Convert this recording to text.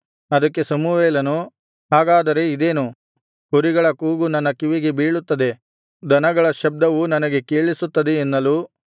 ಅದಕ್ಕೆ ಸಮುವೇಲನು ಹಾಗಾದರೆ ಇದೇನು ಕುರಿಗಳ ಕೂಗು ನನ್ನ ಕಿವಿಗೆ ಬೀಳುತ್ತದೆ ದನಗಳ ಶಬ್ದವು ನನಗೆ ಕೇಳಿಸುತ್ತದೆ ಎನ್ನಲು